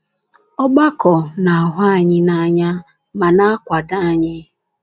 Ọgbakọ na - ahụ anyị n’anya ma na - akwado anyị.